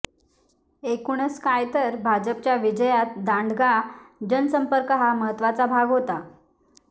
एकूणच काय तर भाजपच्या विजयात दांडगा जनसंपर्क हा महत्त्वाचा भाग होता